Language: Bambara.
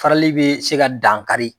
Farali bɛ se ka dankari